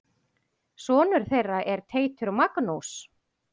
Sonur þeirra er Teitur Magnús.